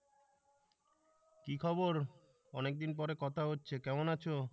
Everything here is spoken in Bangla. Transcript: কি খবর অনেকদিন পরে কথা হচ্ছে কেমন আছো